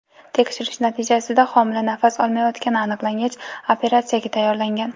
Tekshirish natijasida homila nafas olmayotgani aniqlangach, operatsiyaga tayyorlangan.